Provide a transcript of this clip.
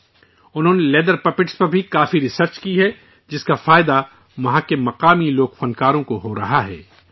انہوں نے leather puppets چمڑے کی کٹھ پتلی پر بھی کافی ریسرچ کی ہے، جس کا فائدہ وہاں کے مقامی لوک کاریگروں کو ہو رہا ہے